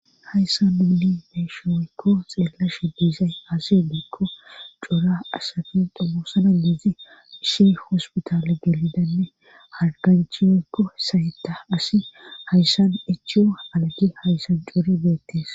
hayssan nuni beyishe woykko xeelashe diizay asi diekko cora asafin dumosana biizi ishi hospitaale gelidanne harganchi weykko sayta asi hayssan echu algi hayssan cuuri beettees